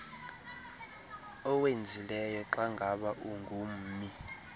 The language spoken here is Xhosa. owenzileyo xangaba ungummi